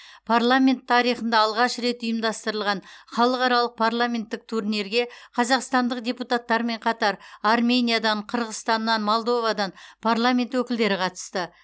парламент тарихында алғаш рет ұйымдастырылған халықаралық парламенттік турнирге қазақстандық депутаттармен қатар армениядан қырғызстаннан молдовадан парламент өкілдері қатысты